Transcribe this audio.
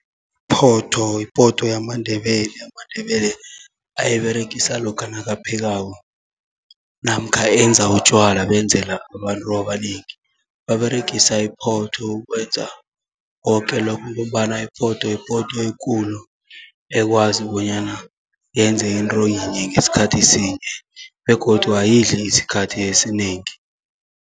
Iphotho yipoto yamaNdebele amandebele ayiberegisa lokha nakaphekako, namkha enza utjwala benzela abantu abanengi, baberegisa iphotho ukwenza koke lokho. Ngombana iphotho yipoto ekulu ekwazi bonyana, yenze into yinye ngesikhathi sinye begodu ayidli isikhathi esinengi.